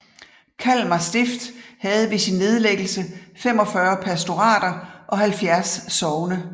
Kalmar Stift havde ved sin nedlæggelse 45 pastorater og 70 sogne